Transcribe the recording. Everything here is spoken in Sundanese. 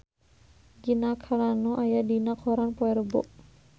Gina Carano aya dina koran poe Rebo